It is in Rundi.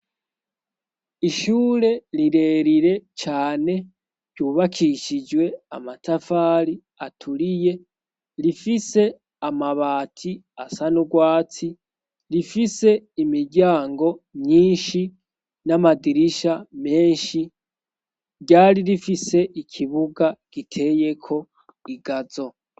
Ishure rirerire cane ryubakishijwe amatafari aturiye rifise amabati asa n'urwatsi rifise imiryango myinshi n'amadirisha menshi ryari rifise ikibue buga giteyeko igazo.